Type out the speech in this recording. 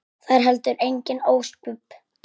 Það eru heldur engin ósköp.